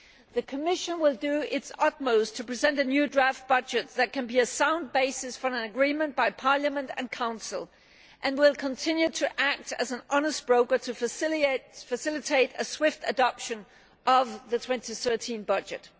The Commission will do its utmost to present a new draft budget that can be a sound basis for an agreement by Parliament and Council, and will continue to act as an honest broker to facilitate a swift adoption of the 2013 budget.